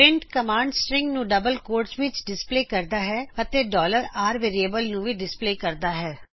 print command string ਨੂੰ double ਕੌਮੇਆ ਵਿਚ ਡਿਸਪਲੇ ਕਰਦਾ ਹੈ ਅਤੇ r ਵੇਰਿਏਬਲ ਨੂੰ ਵੀ ਡਿਸਪਲੇ ਕਰਦਾ ਹੈ